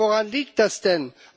Ja, woran liegt das denn?